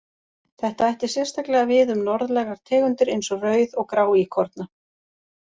Þetta ætti sérstaklega við um norðlægar tegundir eins og rauð- og gráíkorna.